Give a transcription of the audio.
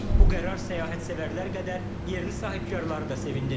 Bu qərar səyahət sevərlər qədər yerli sahibkarları da sevindirib.